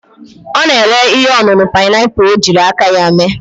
O na-ere ihe onunu pineapple o jiri aka ya mee.